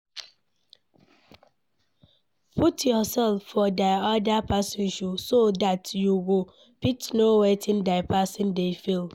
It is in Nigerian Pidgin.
Put yourseld for di oda person shoes so dat you go fit know wetin di person dey feel